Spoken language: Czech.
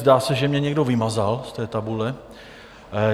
Zdá se, že mě někdo vymazal z té tabule.